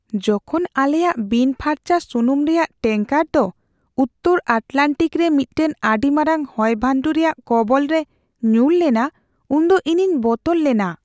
ᱡᱚᱠᱷᱚᱱ ᱟᱞᱮᱭᱟᱜ ᱵᱤᱱᱼᱯᱷᱟᱨᱪᱟ ᱥᱩᱱᱩᱢ ᱨᱮᱭᱟᱜ ᱴᱮᱝᱠᱟᱨ ᱫᱚ ᱩᱛᱛᱚᱨ ᱟᱴᱞᱟᱱᱴᱤᱠ ᱨᱮ ᱢᱤᱫᱴᱟᱝ ᱟᱹᱰᱤ ᱢᱟᱨᱟᱝ ᱦᱚᱭᱼᱵᱷᱟᱱᱰᱩ ᱨᱮᱭᱟᱜ ᱠᱚᱵᱚᱞ ᱨᱮ ᱧᱩᱨ ᱞᱮᱱᱟ ᱩᱱᱫᱚ ᱤᱧᱤᱧ ᱵᱚᱛᱚᱨ ᱞᱮᱱᱟ ᱾